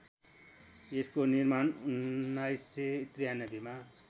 यसको निर्माण १९९३मा